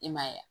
I m'a ye wa